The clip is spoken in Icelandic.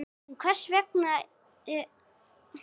En hvers vegna tröll?